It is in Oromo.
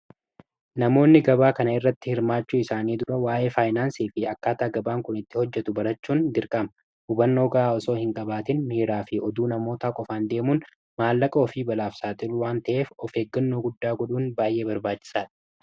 namoonni gabaa kana irratti hirmaachuu isaanii dura waa'ee faayinaansii fi akkaataa gabaan kun itti hojjetu barachuun girqama hubannoo gaa osoo hin qabaatin miiraa fi oduu namoota qofaan deemuun maallaqa ofii balaafsaaxilu waan ta'eef of eeggannoo guddaa godhuun baay'ee barbaachisaa dha